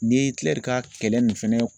Ni ye Ikilɛr ka kɛlɛ nin fɛnɛ